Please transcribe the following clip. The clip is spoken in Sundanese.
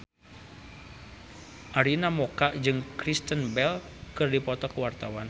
Arina Mocca jeung Kristen Bell keur dipoto ku wartawan